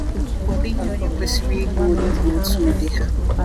Ọ dịghị onye kwesịrị ịlụ onye bụ otu ụdị ha.